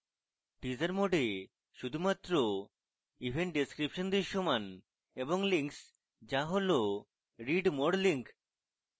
teaser mode এ শুধুমাত্র event description দৃশ্যমান এবং links যা হল read more links